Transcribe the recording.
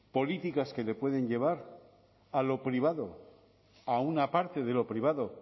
políticas que le pueden llevar a lo privado a una parte de lo privado